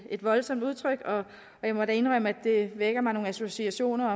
et voldsomt udtryk og jeg må da indrømme at det vækker nogle associationer